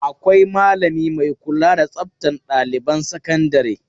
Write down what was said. Akwai malami mai kula da tsaftan ɗailiban sakandare.